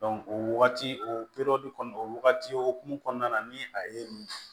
o wagati o kɔni o wagati okumu kɔnɔna na ni a ye nin